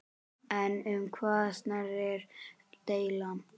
En um hvað snerist deilan?